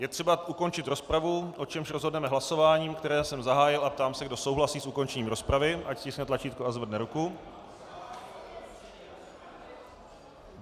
Je třeba ukončit rozpravu, o čemž rozhodneme hlasováním, které jsem zahájil, a ptám se, kdo souhlasí s ukončením rozpravy, ať stiskne tlačítko a zvedne ruku.